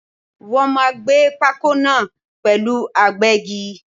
Wọ́n máà ń gbé pákó náà pẹ̀lú agbẹ́gi.